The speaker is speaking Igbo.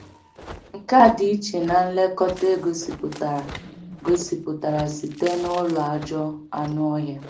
Nke a dị iche na nlekọta e gosipụtara gosipụtara site n’ụlọ ajọ anụ ọhịa.